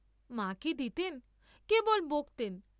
মা কি দিতেন, কেবল বকতেন।